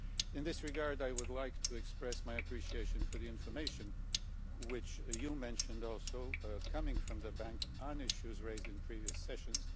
In this regard, I would like to express my appreciation for the information which you mentioned also coming from the Bank on issues raised in previous sessions.